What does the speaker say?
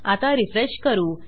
आता रिफ्रेश करू